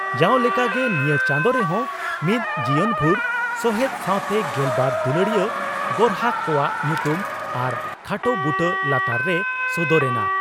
ᱡᱟᱣ ᱞᱮᱠᱟᱜᱮ ᱱᱤᱭᱟᱹ ᱪᱟᱸᱫᱚ ᱨᱮᱦᱚᱸ ᱢᱤᱫ ᱡᱤᱭᱚᱱ ᱵᱷᱩᱨ ᱥᱚᱦᱮᱫ ᱥᱟᱣᱛᱮ ᱜᱮᱞᱵᱟᱨ ᱫᱩᱞᱟᱹᱲᱤᱭᱟᱹ ᱜᱚᱨᱦᱟᱠ ᱠᱚᱣᱟᱜ ᱧᱩᱛᱩᱢ ᱟᱨ ᱠᱷᱟᱴᱚ ᱵᱩᱴᱟᱹ ᱞᱟᱛᱟᱨ ᱨᱮ ᱥᱚᱫᱚᱨ ᱮᱱᱟ ᱾